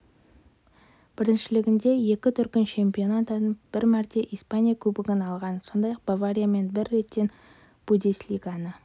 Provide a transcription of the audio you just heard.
біріншілігінде екі дүркін чемпион атанып бір мәрте испания кубогын алған сондай-ақ бавариямен бір реттен бундеслиганы